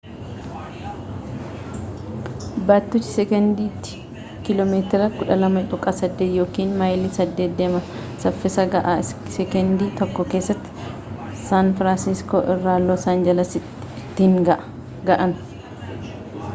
baattuchi sekendiitti kiiloo meetira 12.8 yookiin maayilii 8 deema saffisa ga'aa sekendii tokko keessatti saan firaansiskoo irraa loos aanjalasiin ittiin ga'an